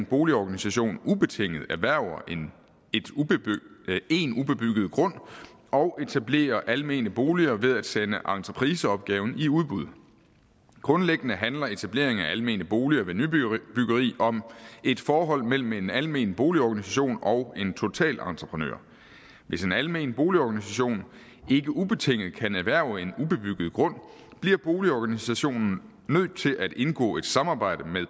boligorganisation ubetinget erhverver en ubebygget grund og etablerer almene boliger ved at sende entrepriseopgaven i udbud grundlæggende handler etableringen af almene boliger ved nybyggeri om et forhold mellem en almen boligorganisation og en totalentreprenør hvis en almen boligorganisation ikke ubetinget kan erhverve en ubebygget grund bliver boligorganisationen nødt til at indgå et samarbejde med